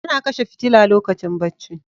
Ana kashe fitila lokacin bacci.